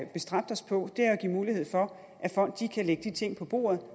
bestræbt os på er jo at give mulighed for at folk kan lægge de ting på bordet